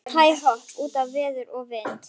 Hæ-hopp út í veður og vind.